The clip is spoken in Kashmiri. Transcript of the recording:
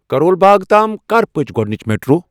کَرول باغ تام کر پٔچ گۄڈنِچ میٹرو؟